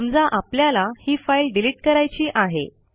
समजा आपल्याला ही फाईल डिलिट करायची आहे